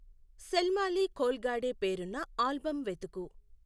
శల్మాలి ఖోల్గాడే పేరున్న ఆల్బమ్ వెతుకు